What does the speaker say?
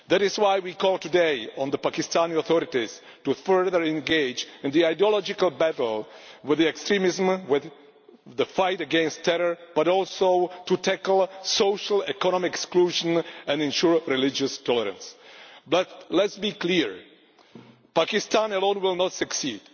That is why we call today on the Pakistani authorities to further engage in the ideological battle with extremism the fight against terror but also to tackle social economic exclusion and ensure religious tolerance. Let us be clear Pakistan alone will not succeed.